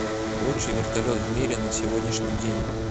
лучший вертолет в мире на сегодняшний день